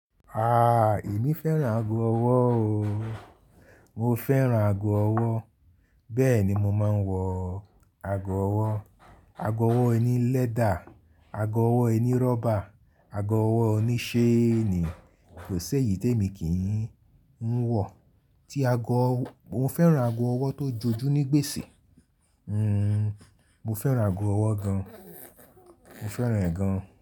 Aaa, èmi fẹ́ràn ago ọwọ́ o. Mo fẹ́ràn ago ọwọ́. Bẹ́ẹ̀ ni mo máa ń wọ ago ọwọ́. Ago ọwọ́ ẹni lẹ́dà, ago ọwọ́ ẹni rọ́bà, ago ọwọ́ oniṣee ni kòṣe yìí tèmi kì í ń wọ. Mo fẹ́ràn ago ọwọ́ tó jojú ní gbèsè. Mo fẹ́ràn ago ọwọ́ gan. Mo fẹ́ràn ẹ̀ gan.